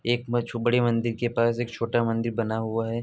एक बच्चू बड़ी मंदिर के पास एक छोटा मंदिर बना हुआ है।